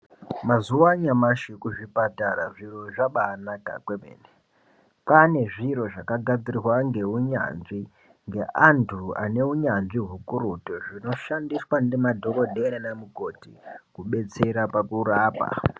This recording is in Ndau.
Mazuva anyamashi kuzvipatara zviro zvabanaka kwemene. Kwane zviro zvakagadzirwa ngeunyanzvi ngeantu aneunyanzvi hukurutu. Zvinshandiswa ngemadhokodheya nana mukoti kubetsera pakurapa.